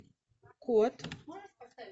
кот